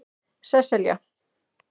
Sesselja